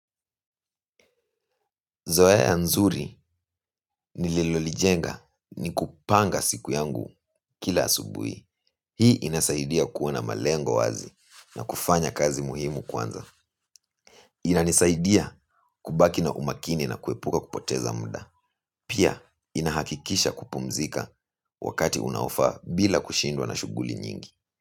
Zoea nzuri nililolijenga ni kupanga siku yangu kila asubuhi hii inasaidia kuwa na malengo wazi na kufanya kazi muhimu kwanza. Inanisaidia kubaki na umakini na kuepuka kupoteza mda. Pia inahakikisha kupumzika wakati unaofaa bila kushindwa na shughuli nyingi.